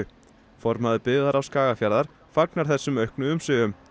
formaður byggðarráðs Skagafjarðar fagnar þessum auknu umsvifum